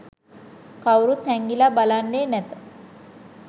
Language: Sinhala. කවුරුත් හැංඟිලා බලන්නේ නැත